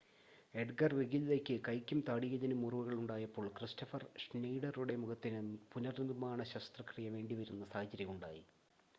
Edgar വെഗില്ലയ്ക്ക് കൈയ്ക്കും താടിയെല്ലിനും മുറിവുകൾ ഉണ്ടായപ്പോൾ ക്രിസ്റ്റഫർ ഷ്നെയ്ഡറുടെ മുഖത്തിന് പുനർനിർമ്മാണ ശസ്ത്രക്രിയ വേണ്ടിവരുന്ന സാഹചര്യം ഉണ്ടായി